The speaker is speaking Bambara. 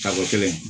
Sago kelen